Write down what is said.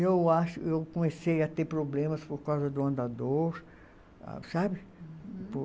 Eu acho eu comecei a ter problemas por causa do andador, sabe?